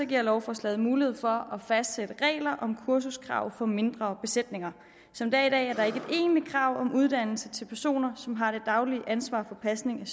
giver lovforslaget mulighed for at fastsætte regler om kursuskrav for mindre besætninger som det er i dag er der ikke et egentligt krav om uddannelse til personer som har det daglige ansvar for pasning